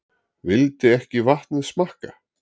Vildi ekki vatnið smakka